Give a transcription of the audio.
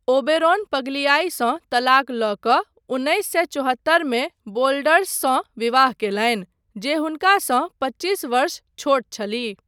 ओबेरोन पग्लियाईसँ तलाक लऽ कऽ उन्नैस सए चौहत्तरमे वोल्डर्ससँ विवाह कयलनि, जे हुनकासँ पच्चीस वर्ष छोट छलीह।